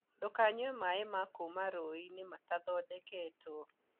Ndũkanyue maĩ ma kuma rũĩ-inĩ matathondeketwo